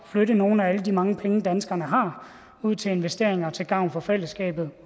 flytte nogle af alle de mange penge danskerne har ud til investeringer til gavn for fællesskabet